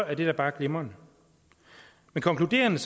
er det da bare glimrende men konkluderende